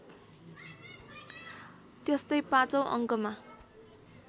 त्यस्तै पाँचौँ अङ्कमा